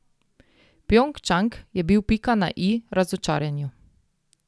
Pjongčang je bil pika na i razočaranju.